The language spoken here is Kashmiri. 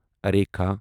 ریٖکھا